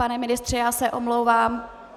Pane ministře, já se omlouvám.